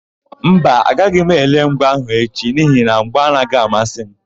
Mba, agaghị m ele mgba áhụ̀ echi n'ihi na mgba anaghị amasị m.